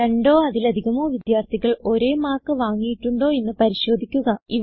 രണ്ടോ അതിലധികമോ വിദ്യാർഥികൾ ഒരേ മാർക്ക് വാങ്ങിയിട്ടുണ്ടോ എന്ന് പരിശോധിക്കുക